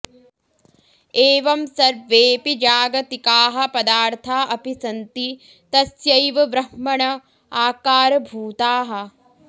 एवं सर्वेऽपि जागतिकाः पदार्था अपि सन्ति तस्यैव ब्रह्मण आकारभूताः